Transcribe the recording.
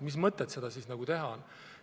Mis mõtet seda siis teha on?